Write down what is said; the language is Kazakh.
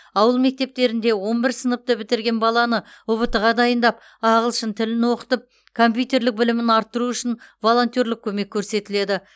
ауыл мектептерінде он бірінші сыныпты бітірген баланы ұбт ға дайындап ағылшын тілін оқытып компьютерлік білімін арттыру үшін волонтерлік көмек көрсетіледі